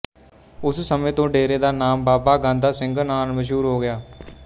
ਉਸ ਸਮੇਂ ਤੋਂ ਡੇਰੇ ਦਾ ਨਾਮ ਬਾਬਾ ਗਾਂਧਾ ਸਿੰਘ ਨਾਲ ਮਸ਼ਹੂਰ ਹੋ ਗਿਆ